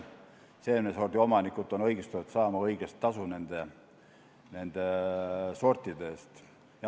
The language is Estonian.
Seemnesordi omanikud on õigustatud saama õiglast tasu nende sortide eest.